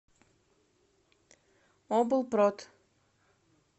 облпрод